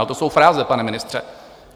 Ale to jsou fráze, pane ministře.